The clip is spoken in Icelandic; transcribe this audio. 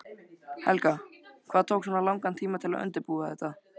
Helga: Hvað tók svona langan tíma að undirbúa þetta?